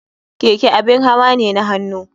Keke abin hawa ne na hannu.